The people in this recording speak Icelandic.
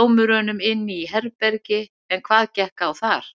dómurunum inn í herbergi en hvað gekk á þar?